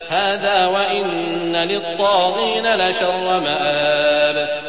هَٰذَا ۚ وَإِنَّ لِلطَّاغِينَ لَشَرَّ مَآبٍ